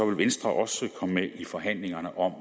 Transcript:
vil venstre også komme med i forhandlingerne om